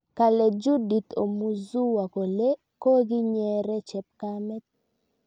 Kale Judith Omuzuwa kole kokinyeree chepkamet